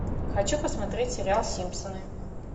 хочу посмотреть сериал симпсоны